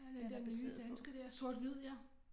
Ja den der nye danske der sort hvid ja